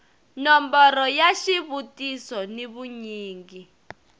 nomboro ya xivutiso ni vunyingi